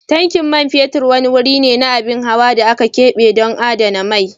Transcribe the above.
Tankin mai wani wuri ne na abin hawa da aka kebe ɗon adana mai.